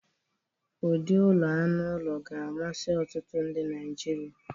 ụdị ụlọ anụ ụlọ ga-amasị ọtụtụ ndị Naijiria.